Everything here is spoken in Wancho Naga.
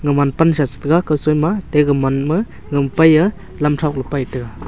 man pansa che taiga kaw soi ma ate gaman ma lampai a lam thok le pai taiga.